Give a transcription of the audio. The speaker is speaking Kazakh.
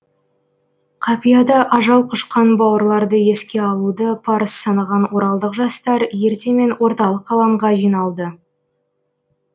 қапияда ажал құшқан бауырларды еске алуды парыз санаған оралдық жастар ертемен орталық алаңға жиналды